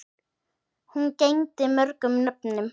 Hún gegndi mörgum nöfnum.